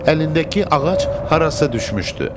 Əlindəki ağac harasa düşmüşdü.